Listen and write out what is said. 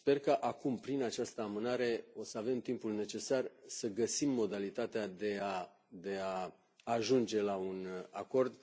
Sper că acum, prin această amânare, o să avem timpul necesar să găsim modalitatea de a ajunge la un acord.